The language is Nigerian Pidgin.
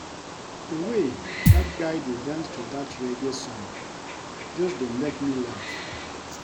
The way dat guy dey dance to dat reggae song just dey make me laugh